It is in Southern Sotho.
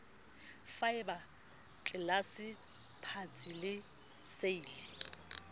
faeba tlelase patsi le seili